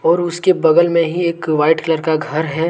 और उसके बगल में ही एक वाइट कलर का घर है।